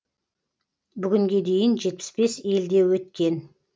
бүгінге дейін жетпіс бес елде өткен